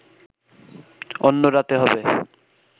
অন্য রাতে হবে